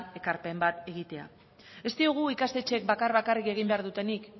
ekarpen bat egitea ez diogu ikastetxeek bakar bakarrik egin behar dutenik